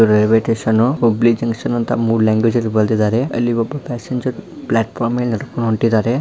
ಇದು railway station Hubli junction ಅಂತ ಮೂರು ಲ್ಯಾಂಗ್ವೇಜ್ ಅಲ್ಲಿ ಬರೆದಿದ್ದಾರೆ ಅಲ್ಲಿ ಒಬ್ಬ ಪ್ಯಾಸೆಂಜರ್ ಪ್ಲ್ಯಾಟ್ ಫಾರ್ಮ್ ಮೆಲೆ ನಡೆದುಕೊಂಡು ಹೋಂಟಿದ್ದಾರೆ.